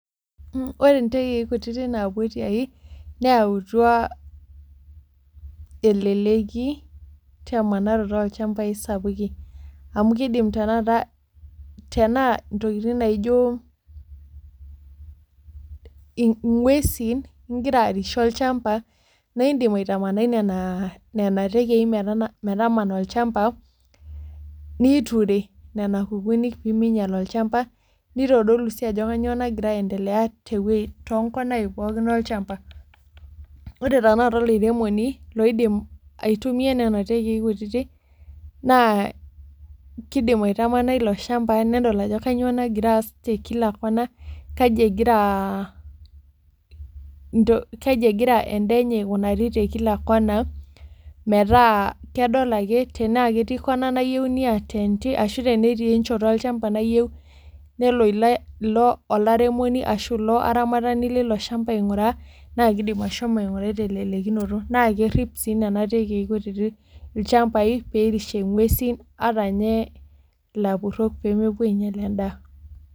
Ore ntekei kutiti napuo tiai neyawutua eleleki temanaroto oolchambai sapukin amu kidim tenakata tenaa ntokitin naijo inguesin igira arishie olchamba naa idim aitamanai nena tenkei metamana olchamba niture nena kukunik peyie minyal olchamba nitodolu sii ajo kainyioo naigira aitelea too konai pooki olchamba ore tenakata olairemoni loidim aitumia nena tenkei kutiti naa kidim aitamana ilo shamba nedol ajo kainyioo ass te kila kona kaji egira endaa enye aikunari te kila kona metaa kedol ake tenetii kona neyieu niatedi netii enchoto olchamba neyieu ilo airemoni ashu ilo aramatani Lilo shamba inguraa na kelo ainguraa teleleki naa kerip sii nena tenkei kutiti ilchambai peyie erishie nguesin ashu ninye lapurok peyie mepuo ainyial endaa.